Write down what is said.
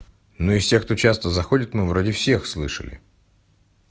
ну из тех кто часто заходит ну вроде всех слышали